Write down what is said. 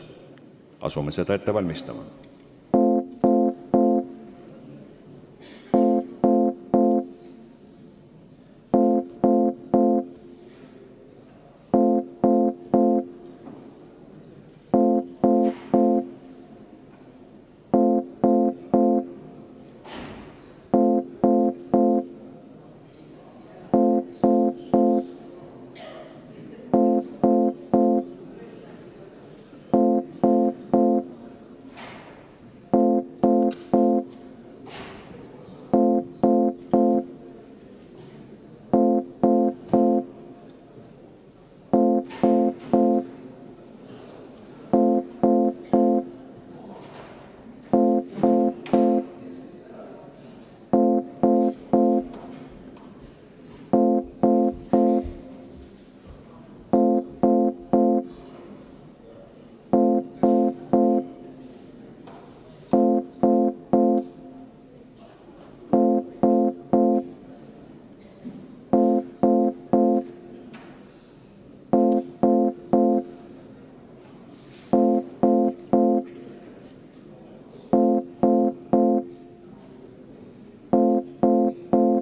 Asume seda ette valmistama.